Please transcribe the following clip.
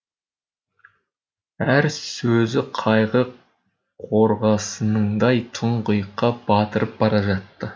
әр сөзі қайғы қорғасынындай тұңғиыққа батырып бара жатты